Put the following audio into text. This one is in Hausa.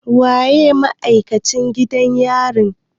Waye ma'aikacin gidan yarin?